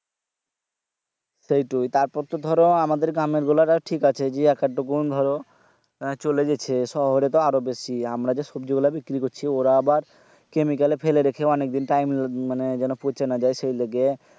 সেইটোই তারপর তো ধরো আমাদের গ্রামের গুলা তাও ঠিক আছে জি এক আধ টুকুন ধরো চলে যেছে শহরে তো আরো বেশি আমরা যে সবজি গুলা বিক্রি করছি ওরা আবার Chemical এ ফেলে রেখে অনেক দিন time মানে যেন পচে না যাই সেই লেগে